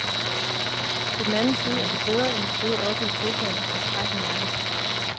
På den anden side er det bedre end at sidde oppe i sofaen og få træk i nakken.